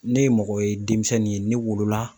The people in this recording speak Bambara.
Ne ye mɔgɔ ye denmisɛnnin ye ne wolo la